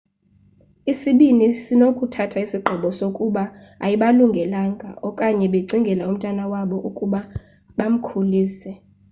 isibini sinokuthatha isigqibo sokuba ayibalungelanga okanye becingela umntwana wabo ukuba bamkhulise